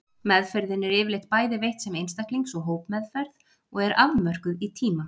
Meðferðin er yfirleitt bæði veitt sem einstaklings og hópmeðferð og er afmörkuð í tíma.